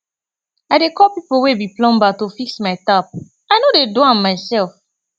i dey call pipo wey be plumber to fix my tap i no dey do am mysef